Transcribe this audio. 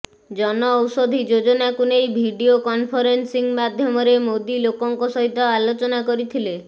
ଜନଔଷଧୀ ଯୋଜନାକୁ ନେଇ video conference ମାଧ୍ୟମରେ ମୋଦି ଲୋକଙ୍କ ସହିତ ଆଲୋଚନା କରିଥିଲେ